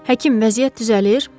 Həkim, vəziyyət düzəlir?